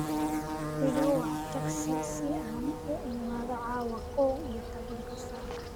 iga wac tagsi si aan u imaado caawa kow iyo toban saac